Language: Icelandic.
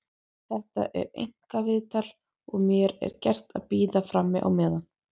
Þetta er einkaviðtal og mér er gert að bíða frammi á meðan.